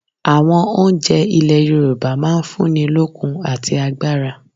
Àwon oúnje ilè Yorùbá máa n fún ni lókun àti agbára